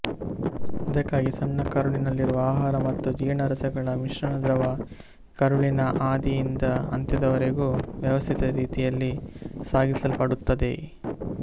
ಇದಕ್ಕಾಗಿ ಸಣ್ಣ ಕರುಳಿನಲ್ಲಿರುವ ಆಹಾರ ಮತ್ತು ಜೀರ್ಣರಸಗಳ ಮಿಶ್ರಣದ್ರವ ಕರುಳಿನ ಆದಿಯಿಂದ ಅಂತ್ಯದವರೆಗೂ ವ್ಯವಸ್ಥಿತ ರೀತಿಯಲ್ಲಿ ಸಾಗಿಸಲ್ಪಡುತ್ತದೆ